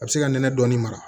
A bɛ se ka nɛnɛ dɔɔnin mara